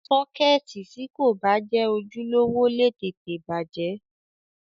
Sọ́kẹ́ẹ̀tì tí kò bá jẹ́ ojúlówó lè tètè bàjẹ́.